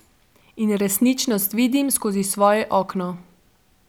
In resničnost vidim skozi svoje okno.